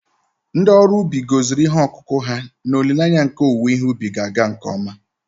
Ndị ọrụ ugbo gọziri ihe ọkụkụ ha n’olileanya nke owuwe ihe ubi ga-aga nke ọma